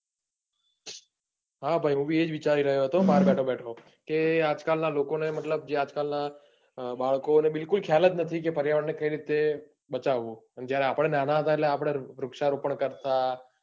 હા ભાઈ હું બી એજ વિચારી રહ્યો હતો. બાર બેઠો બેઠો કે આજ કાલ ના લોકોને મતલબ જે આજકાલ ના બાળકોને બિલકુલ ખ્યાલ નથી કે પર્યાવરણ ને કઈ રીતે બચાવવું. જયારે આપણે ના ના હતા ત્યારે વૃક્ષારોપણ કરતા,